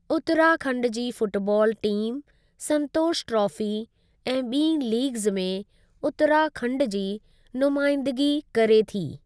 उत्तरा खण्ड जी football team Santosh trophy ऐं ॿीं लीगज़ में उत्तरा खण्ड जी नुमाइंदगी करे थी।